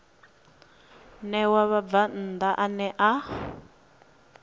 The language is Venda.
ṋewa mubvann ḓa ane a